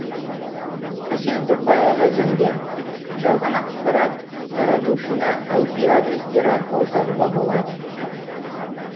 әсел тоқаева заңгер жалған ақапарат таратушыны айпи адрестер арқылы табуға болады